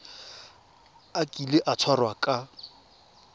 a kile a tshwarwa ka